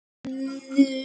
Munur á hefðum